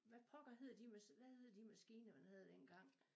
Hvad pokker hed de hvad hed de maskiner man havde dengang